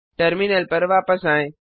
terminal पर वापस आएं